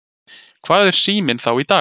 Hvað er Síminn þá í dag?